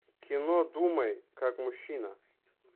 кино думай как мужчина